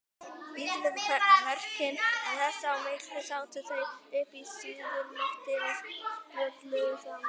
Dísu við verkin en þess á milli sátu þau uppi á suðurlofti og spjölluðu saman.